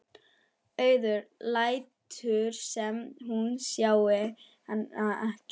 Auður lætur sem hún sjái hana ekki.